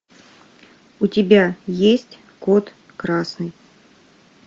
у тебя есть код красный